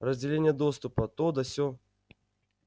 разделение доступа то да сё